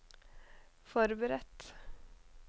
forberedt